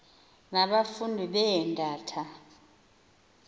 na abafundi beendata